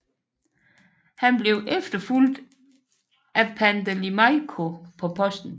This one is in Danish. Han blev efterfulgt af Pandeli Majko på posten